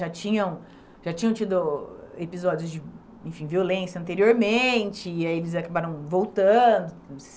Já tinham, já tinham tido episódios de, enfim, violência anteriormente, e aí eles acabaram voltando